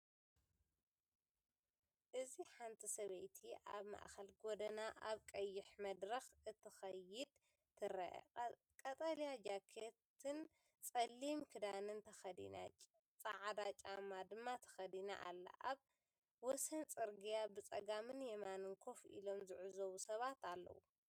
እዚ ሓንቲ ሰበይቲ ኣብ ማእከል ጎደና ኣብ ቀይሕ መድረክ ክትከይድ ትረአ። ቀጠልያ ጃኬትን ጸሊም ክዳንን ተኸዲና፡ ጻዕዳ ጫማ ድማ ተኸዲና ኣላ። ኣብ ወሰን ጽርግያ ብጸጋምን የማንን ኮፍ ኢሎም ዝዕዘቡ ሰባት ኣለዉ።